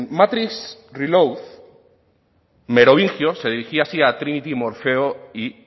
matrix reloaded merovingio se dirigía así a trinity morfeo y